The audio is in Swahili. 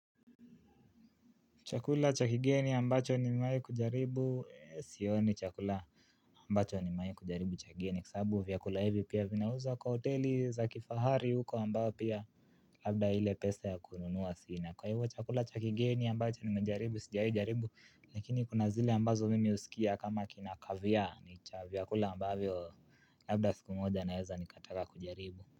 Chakula chakigeni ambacho nimewai kujaribu. Sio ni chakula ambacho nimewai kujaribu chakigeni. Kwasabu vyakula hivi pia vinauzwa kwa hoteli za kifahari huko ambayo pia labda ile pesa ya kununua sina. Kwa hivyo chakula chakigeni ambacho nimewai kujaribu. Sijawaikujaribu Lakini kuna zile ambazo mimi usikia kama kinakavya ni chakula ambayo labda siku moja naeza nikataka kujaribu.